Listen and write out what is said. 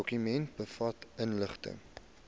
dokument bevat inligting